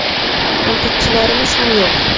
Tanqidchilarimiz ham yo‘q.